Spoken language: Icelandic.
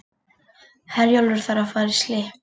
Herjólfur þarf að fara í slipp